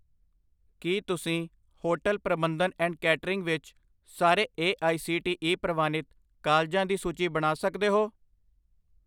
ਕੀ ਤੁਸੀਂ ਹੋਟਲ ਪ੍ਰਬੰਧਨ and catering ਵਿੱਚ ਸਾਰੇ A I C T E ਪ੍ਰਵਾਨਿਤ ਕਾਲਜਾਂ ਦੀ ਸੂਚੀ ਬਣਾ ਸਕਦੇ ਹੋ